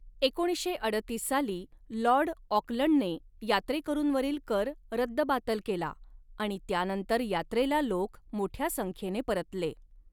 एकोणीसशे अडतीस साली लाॅर्ड ऑकलंडने यात्रेकरूंवरील कर रद्दबातल केला आणि त्यानंतर यात्रेला लोक मोठ्या संख्येने परतले.